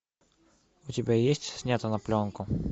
у тебя есть снято на пленку